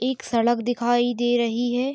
एक सड़क दिखाई दे रही है।